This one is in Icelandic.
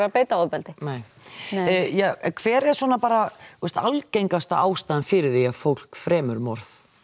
beita ofbeldi hver er svona algengasta ástæðan fyrir því að fólk fremur morð